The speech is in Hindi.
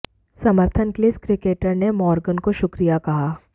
समर्थन के लिए इस क्रिकेटर ने मोर्गन को शुक्रिया कहा